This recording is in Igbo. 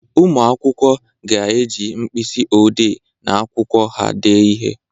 Ụmụ akwụkwọ ga-eji mkpịsị odee na akwụkwọ ha dee ihe.